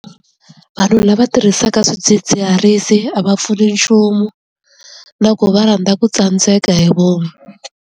Vanhu lava tirhisaka swidzidziharisi a va pfuni nchumu na ku va rhandza ku tsandzeka hi vomu.